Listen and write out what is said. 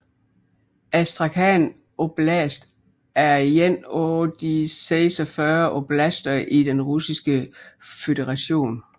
Astrakhan oblast er en af 46 oblaster i Den Russiske Føderation